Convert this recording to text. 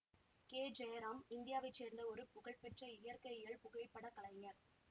K Jayaram இந்தியாவை சேர்ந்த ஒரு புகழ்பெற்ற இயற்கையியல் புகைப்படக் கலைஞர்